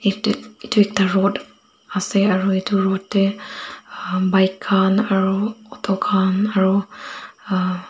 yete yete ekta road ase aro etu road dae bike aro auto kan aro aa.